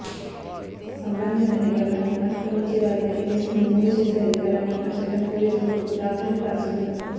సంబంధిత నిబంధనలను అతిక్రమించే వారిపై కేసులు నమోదుచేసే అధికారాన్ని ఆ చట్టం పోలీసులకు దాఖలు పరచింది